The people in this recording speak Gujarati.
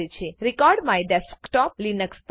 રેકોર્ડમાયડેસ્કટોપ લીનક્સ પર